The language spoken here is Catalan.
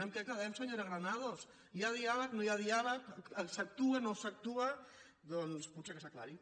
amb què quedem senyora granados hi ha diàleg no hi ha diàleg s’actua no s’actua doncs potser que s’aclareixi